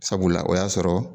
Sabula o y'a sɔrɔ